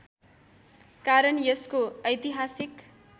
कारण यसको ऐतिहासिक